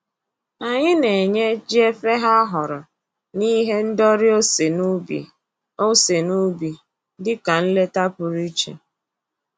Anyị na-enye jiefeghe ahụrụ na ihe ndori ose n'ubi ose n'ubi dịka nleta pụrụ iche